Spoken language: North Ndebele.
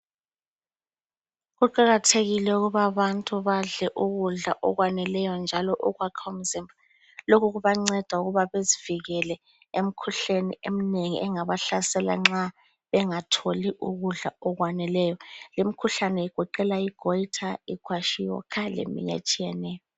Kuqakathekile ukuba abantu badle ukudla okwaneleyo njalo okwakha umzimba lokhu kubanceda ukubana bazivikele emkhuhleni emnengi engabahlasela nxa bengatholi ukudla okwanele, limkhuhlane igoqela igoyitha, ikwashiyokha leminye etshiyeneyo.